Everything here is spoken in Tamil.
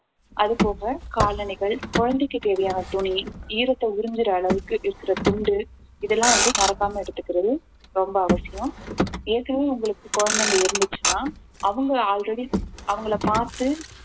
அதுபோக காலணிகள் குழந்தைக்கு தேவையான துணி ஈரத்தை உறிஞ்சுற அளவுக்கு இருக்கிற துண்டு இதெல்லாம் வந்து மறக்காம எடுத்துக்கிறது ரொம்ப அவசியம் ஏற்கனவே உங்களுக்கு குழந்தைங்க இருந்துச்சுன்னா அவங்க already அவங்கள பார்த்து